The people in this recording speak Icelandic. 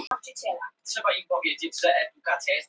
Skilnaður foreldra er því alltaf áfall fyrir barn.